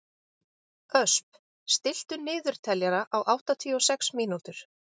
Ösp, stilltu niðurteljara á áttatíu og sex mínútur.